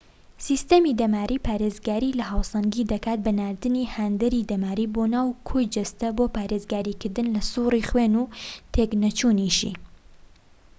سیستەمی دەماری پارێزگاری لە هاوسەنگی دەکات بە ناردنی هاندەری دەماری بۆ ناو کۆی جەستە بۆ پارێزگاریکردن لە سووڕی خوێن و تێک نەچوونیشی